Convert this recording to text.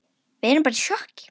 Við erum bara í sjokki.